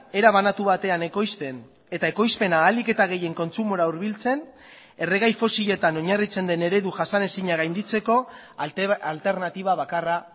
era banatu batean ekoizten eta ekoizpena ahalik eta gehien kontsumora hurbiltzen erregai fosiletan oinarritzen den eredu jasanezina gainditzeko alternatiba bakarra